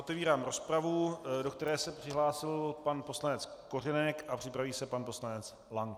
Otevírám rozpravu, do které se přihlásil pan poslanec Kořenek a připraví se pan poslanec Lank.